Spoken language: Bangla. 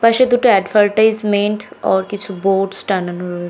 পাশে দুটো এডভারটাইস মেইড ওর কিছু বোর্ডস টানানো রয়ে--